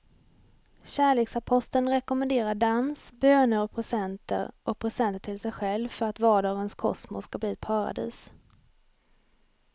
Kärleksaposteln rekommenderar dans, böner och presenter och presenter till sig själv för att vardagens kosmos ska bli ett paradis.